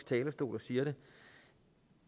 talerstol og siger det